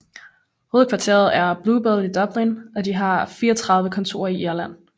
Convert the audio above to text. Hovedkvarteret er i Bluebell i Dublin og de har 34 kontorer i Irland